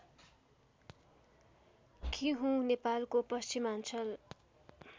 किहूँ नेपालको पश्चिमाञ्चल